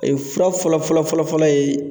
Ee fura fɔlɔ fɔlɔ fɔlɔ fɔlɔ ye